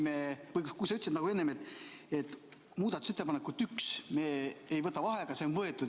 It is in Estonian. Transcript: Sa ütlesid enne, et muudatusettepaneku nr 1 juures me ei võta vaheaega, sest see on võetud.